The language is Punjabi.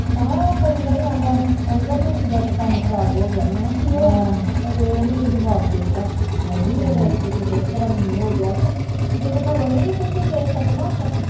ਭੈਣਾਂ ਉਹ ਪੇਂਦਣ ਈ ਆਂਦਾ ਕਹਿੰਦਾ ਜ਼ਿੰਦੀ ਦਾ ਤੇ ਕੰਮ ਖਰਾਬ ਹੋਗਿਆ ਮੈ ਕਿਹਾ ਕੀ ਹੋਇਆ ਅਹੇ ਓਹਨੂੰ ਤਾ ਜਬਾਬ ਦੇ ਤਾ ਹਾਏ ਨੀ ਮੇਰਾ ਤੇ ਕੀਤੇ ਹੋਰ ਤਰਾਂ ਮੈਨੂੰ ਹੋਗਿਆ ਕੇ ਜਦੋ ਘਰੋਂ ਨੀ ਨਿਕਲ ਕੇ ਗਏ ਸਪਨਾ ਆਪਾ